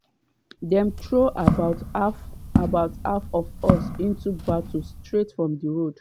dem throw about half about half of us into battle straight from di road.